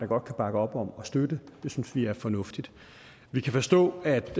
godt kan bakke op om og støtte det synes vi er fornuftigt vi kan forstå at